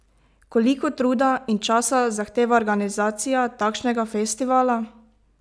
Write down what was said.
Koliko truda in časa zahteva organizacija takšnega festivala?